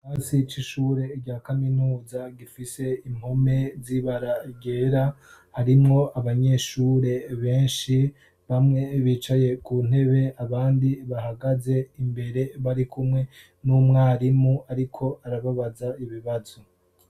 Ikirasi c'ishure rya kaminuza gifise impome byibaragera harimwo abanyeshure benshi bamwe bicaye ku ntebe abandi bahagaze imbere bari kumwe n'umwarimu ariko arababaza ibibazo.